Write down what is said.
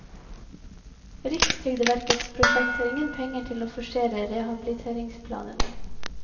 Rikstrygdeverkets prosjekt har ingen penger til å forsere rehabiliteringsplanene.